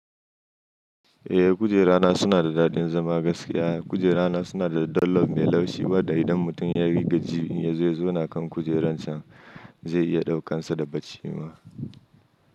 Eh, kujerana suna da daɗin zama gaskiya. Kujerana suna da dollop mai laushi, wada idan mutum ya gaji inya zo ya zauna kan kujeran can, zai iya ɗaukan sa da bacci ma.